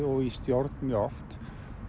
og í stjórn mjög oft